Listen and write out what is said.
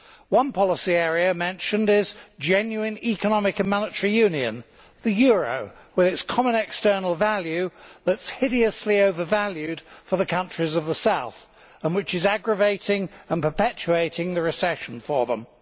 One policy area mentioned is genuine economic and monetary union the euro, with its common external value that is hideously overvalued for the countries of the South, and which is aggravating and perpetuating the recession for them.